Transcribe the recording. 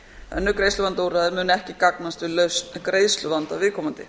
önnur greiðsluvandaúrræði muni ekki gagnast við greiðsluvanda viðkomandi